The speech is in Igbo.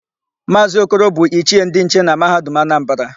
Maazị Okoro bụ Ichie ndị nche na Mahadum Anambara.